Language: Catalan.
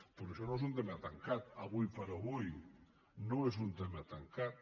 però això no és un tema tancat ara per ara no és un tema tancat